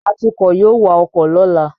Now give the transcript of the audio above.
Atukọ̀ yóò wa ọkọ̀ lọ́la